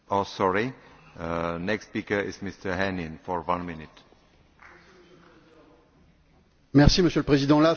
Monsieur le Président, la force du transport aérien repose sur sa sécurité, qui est une affaire d'organisation et de réglementation très strictes.